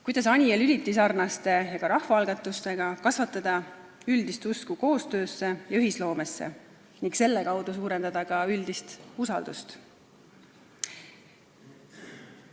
Kuidas Anija Lüliti sarnaste ettevõtmistega ja ka rahvaalgatustega kasvatada üldist usku koostöösse ja ühisloomesse ning selle kaudu suurendada üldist usaldust?